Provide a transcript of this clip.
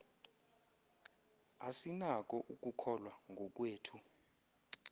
asinako ukukholwa ngokwethu